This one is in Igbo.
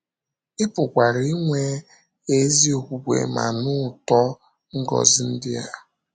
Ị pụkwara inwe ezi okwukwe ma nụ ụtọ ngọzi ndị a.